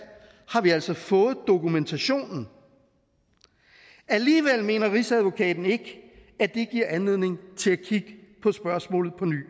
har vi altså fået dokumentationen alligevel mener rigsadvokaten ikke at det giver anledning til at kigge på spørgsmålet på ny